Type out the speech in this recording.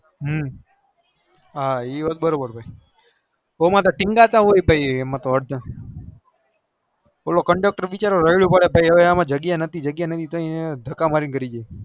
હમ ઈ વાત બરો બાર આમતો કીન્ગતા હોય પેલો conductor રડયો પડે અમ જગ્યા નથી જગ્યા નથી તોએ ઢાકા મૂકી કરતા હોય